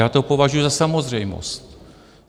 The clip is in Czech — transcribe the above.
Já to považuji za samozřejmost.